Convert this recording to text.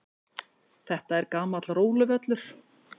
Þetta er gamall róluvöllur.